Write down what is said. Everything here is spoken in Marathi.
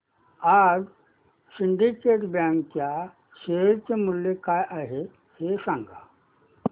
आज सिंडीकेट बँक च्या शेअर चे मूल्य काय आहे हे सांगा